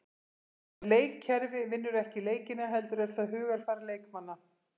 En leikkerfi vinnur ekki leikina heldur er það hugarfar leikmanna.